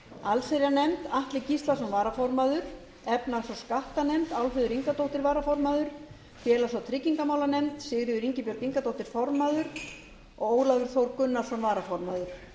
allsherjarnefnd atli gíslason varaformaður efnahags og skattanefnd álfheiður ingadóttir varaformaður félags og tryggingamálanefnd sigríður ingibjörg ingadóttir formaður og ólafur þór gunnarsson varaformaður